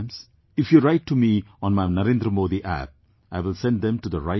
If you write to me on my NarendraModiApp , I will send them to the right place